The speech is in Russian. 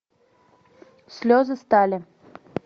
слезы стали